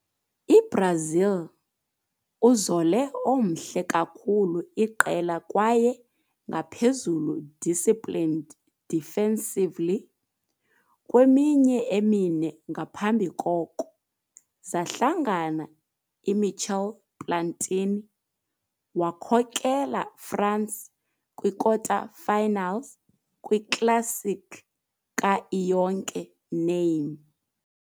I-Brazil, uzole omhle kakhulu iqela kwaye ngaphezulu disciplined defensively kweminyaka emine ngaphambi koko, zahlangana i - Michel Platini-wakhokela France kwi-kwikota-finals kwi classic ka Iyonke Name.